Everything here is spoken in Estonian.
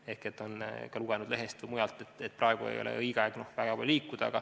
Ehk nad on lugenud lehest või kuulnud mujalt, et praegu ei ole õige aeg väga palju liikuda.